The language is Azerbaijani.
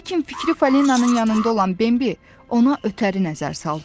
Lakin fikri Falinanın yanında olan Bimbi ona ötəri nəzər saldı.